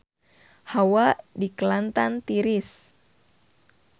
Hawa di Kelantan tiris